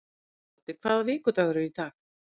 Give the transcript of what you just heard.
Sigurvaldi, hvaða vikudagur er í dag?